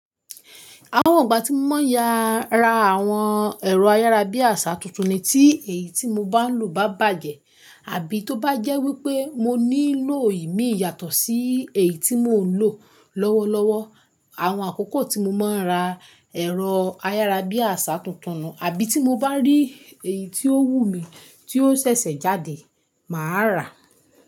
Àwọn ìgbà tí mo máa ń ya ra àwọn ẹ̀rọ ayárabíàṣá tuntun ni tí èyí tí mo bá ń lò bá bàjẹ́ àbí tó bá jẹ́ wípé mo nílò ìmi yàtọ̀ sí èyí tí mò ń lò lọ́wọ́lọ́wọ́. Àwọn àkókò tí mo máa ń ra ẹ̀rọ ayárabíàṣá tuntun nùn-un, àbí tí mo bá rí èyí tí ó wù mí tí ó ṣẹ̀ṣẹ̀ jáde, màá rà.